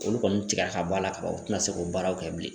Olu kɔni tigɛ ka b'a la kaban u tɛna se k'o baaraw kɛ bilen